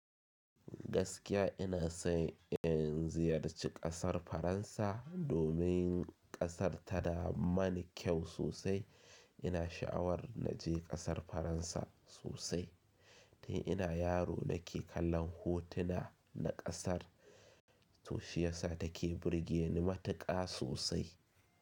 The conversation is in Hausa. Gaskiya ina so in ziyarci ƙasar Faransa domin ƙasar tana mani kyau sosai. Ina sha'awar na je ƙasar Faransa sosai. Tun ina yaro nake kallon hotuna na ƙasar to shiyasa take burge ni matuƙa sosai.